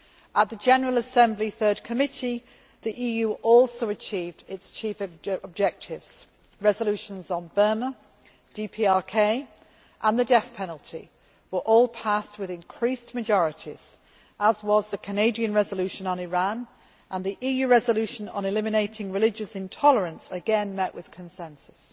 At the General Assembly Third Committee, the EU also achieved its chief objectives resolutions on Burma, DPRK and the death penalty were all passed with increased majorities as was the Canadian resolution on Iran and the EU resolution on eliminating religious intolerance again met with consensus.